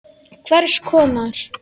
Hvers konar.